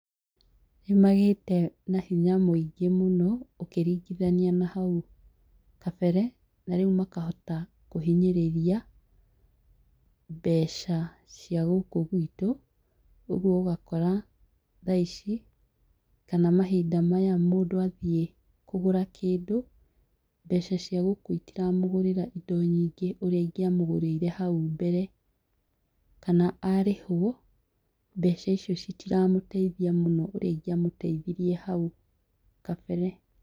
Nĩ magĩĩte na hinya mũingĩ mũno, ũkĩringithania na hau kabere, na rĩu makahota kũhinyĩrĩria mbeca cia gũkũ gwitũ. Ũgũo ũgakora tha ici, kana mahinda maya mũndũ athiĩ kũgũra kĩndũ, mbeca ciagũkũ itira mũgũrĩra indo nyingĩ ũrĩa ingĩramũgũrĩire hau mbere. Kana arĩhwo, mbeca icio citiramũteithia mũno, ũrĩa ingĩamũteithirie hau kabere.